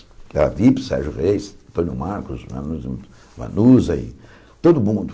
Sérgio Reis, Tonio Marcos, Manuza Manuza e todo mundo.